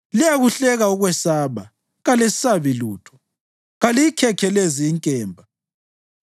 Liyakuhleka ukwesaba, kalesabi lutho; kaliyikhekhelezi inkemba.